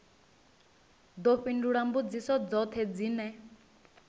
ḓo fhindula mbudziso dzoṱhe dzine